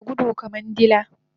Tanada gudu kaman dila